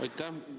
Aitäh!